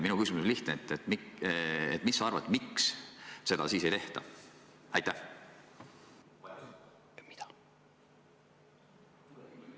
Minu küsimus on lihtne: mis sa arvad, miks seda siis ei tehta?